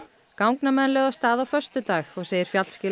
gangnamenn lögðu af stað á föstudag og segir